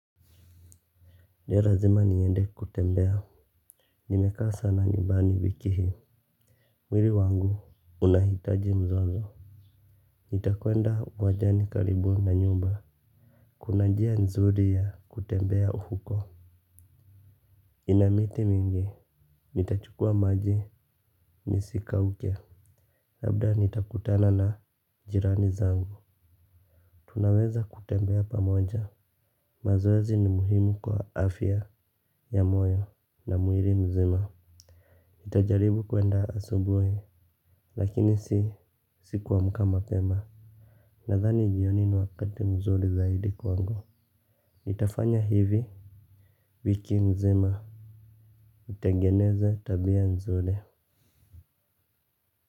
Leo lazima niende kutembea. Nimekaa sana nyumbani wiki hii. Mwili wangu unahitaji mzozo. Nitakwenda wajani karibu na nyumba. Kuna njia nzuri ya kutembea huko. Ina miti mingi nitachukua maji nisikauke. Labda nitakutana na jirani zangu. Tunaweza kutembea pamoja. Mazoezi ni muhimu kwa afya ya moyo na mwili mzima nitajaribu kwenda asubuhi lakini si kuamka mapema. Nadhani jioni ni wakati mzuri zaidi kwangu nitafanya hivi wiki mzima nitengeneze tabia mzuri.